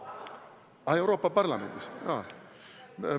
Aa, jutt on Euroopa Parlamendist?